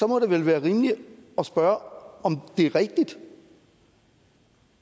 må det vil være rimeligt at spørge om det er rigtigt